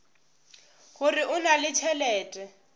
gore o na le tšhelete